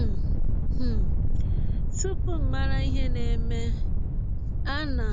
um um Tụpụ m mara ihe na - eme, ana